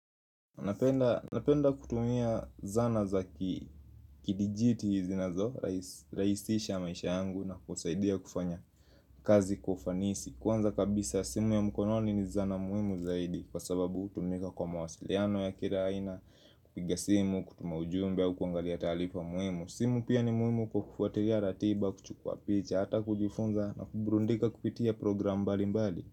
Napenda kutumia zana za kidijiti zinazo rahisisha maisha yangu na kusaidia kufanya kazi kwa ufanisi Kwanza kabisa simu ya mkononi ni zana muhimu zaidi kwa sababu hutumika kwa mawasiliano ya kila aina kupiga simu, kutumia ujumbe kuangalia taarifa muhimu simu pia ni muhimu kukufuatilia ratiba, kuchukua picha, hata kujufunza na kuburudika kupitia program mbali mbali.